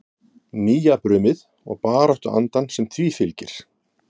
Nýjabrumið og baráttuandann sem því fylgir?